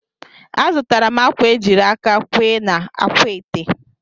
Azụtara m akwa e jiri aka kwee n'akwaete